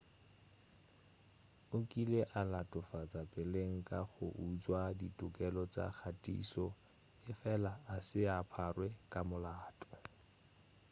o kile a latofatša peleng ka go utšwa ditokelo tša kgathišo efela a se a pharwa ka molato